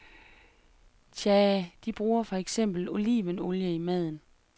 Tja, de bruger for eksempel olivenolie i maden.